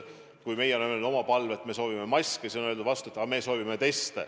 Kui meie oleme öelnud oma palve, et me soovime maske, siis on öeldud vastu, et meie soovime teste.